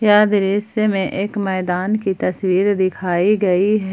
यह दृश्य में एक मैदान की तस्वीर दिखाई गई है।